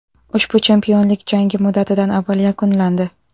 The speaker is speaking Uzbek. Ushbu chempionlik jangi muddatidan avval yakunlandi.